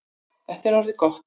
Þetta er orðið gott.